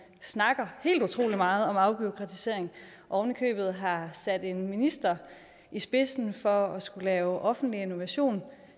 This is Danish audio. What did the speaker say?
snakker helt utrolig meget om afbureaukratisering og ovenikøbet har sat en minister i spidsen for at skulle lave offentlig innovation